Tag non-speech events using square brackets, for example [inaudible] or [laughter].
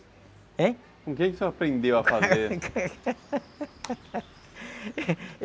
Heim? Com quem você que o senhor aprendeu a fazer? [laughs]